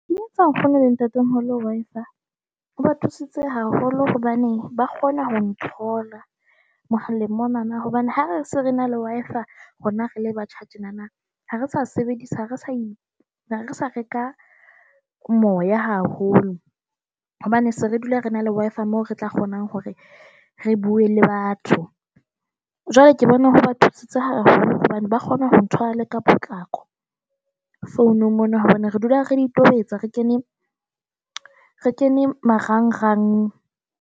Etsa ngfounela ntate. Hello wife A o ba thusitse haholo hobane ba kgona ho nthola mohaleng monana hobane ha re se re na le Wi-Fi a rona rele batjha tjenana, ha re sa sebedisa ha re sa re sa reka moya haholo hobane se re dula re na le Wi-Fi a mo re tla kgona hore re bue le batho. Jwale ke bone ho ba thusitse hobane ba kgone ho ntshwarele ka potlako founung mono hobane re dula re di itobetsa, re kene re kene marangrang.